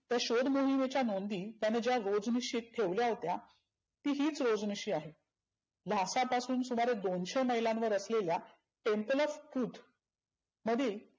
त्या शोध मोहिमेच्या नोंदी त्याने ज्या रोजनिशित ठेवल्या होत्या ती हिच रोजनिशी आहे. लाखां पासून सुमारे दोनशे मैलावर असलेल्या temple of stup मधिल